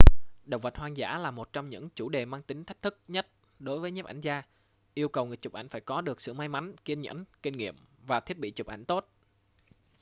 động vật hoang dã là một trong những chủ đề mang tính thách thức nhất đối với nhiếp ảnh gia yêu cầu người chụp phải có được sự may mắn kiên nhẫn kinh nghiệm và thiết bị chụp ảnh tốt